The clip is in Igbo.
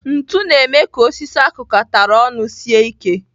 Ntu na-eme ka osisi akụkatara ọnụ sie ike.